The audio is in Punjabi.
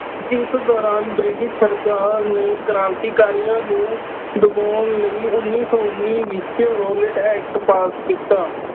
ਇਸ ਦੌਰਾਨ ਬ੍ਰਿਟਿਸ਼ ਸਰਕਾਰ ਨੇ ਕ੍ਰਾਂਤੀਕਾਰੀਆ ਨੂੰ ਦਬਾਉਣ ਲਈ ਉੱਨੀ ਸੌ ਉੱਨੀ ਵਿੱਚ ਰੋਅਲੈਟ ਐਕਟ pass ਕੀਤਾ।